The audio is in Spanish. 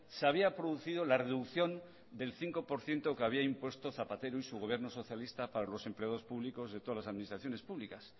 se había producido la reducción del cinco por ciento que había impuesto zapatero y su gobierno socialista para los empleados públicos de todas las administraciones públicas